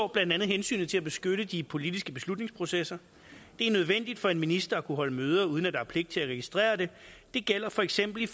blandt andet hensynet til at beskytte de politiske beslutningsprocesser det er nødvendigt for en minister at kunne holde møder uden at der er pligt til at registrere det det gælder for eksempel